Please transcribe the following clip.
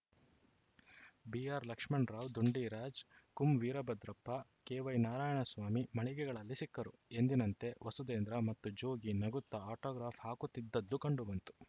B R Lakshmana Rao Dundiraj ಕುಂವೀರಭದ್ರಪ್ಪ ಕೆವೈನಾರಾಯಣ ಸ್ವಾಮಿ ಮಳಿಗೆಗಳಲ್ಲಿ ಸಿಕ್ಕರು ಎಂದಿನಂತೆ ವಸುಧೇಂದ್ರ ಮತ್ತು ಜೋಗಿ ನಗುತ್ತಾ ಆಟೋಗ್ರಾಫ್‌ ಹಾಕುತ್ತಿದ್ದುದು ಕಂಡುಬಂತು